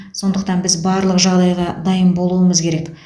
сондықтан біз барлық жағдайға дайын болуымыз керек